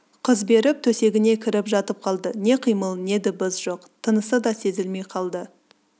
қыз беріп төсегіне кіріп жатып қалды не қимыл не дыбыс жоқ тынысы да сезілмей қалды